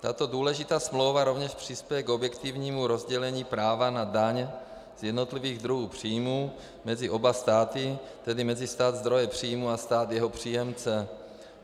Tato důležitá smlouva rovněž přispěje k objektivnímu rozdělení práva na daň z jednotlivých druhů příjmů mezi oba státy, tedy mezi stát zdroje příjmu a stát jeho příjemce.